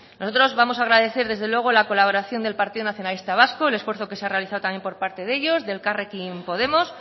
nosotros vamos agradecer desde luego la colaboración del partido nacionalista vasco el esfuerzo que se ha realizado también por parte de ellos de elkarrekin podemos